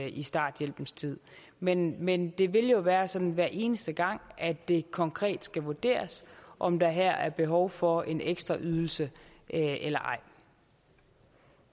i starthjælpens tid men men det vil jo være sådan hver eneste gang at det konkret skal vurderes om der her er behov for en ekstraydelse eller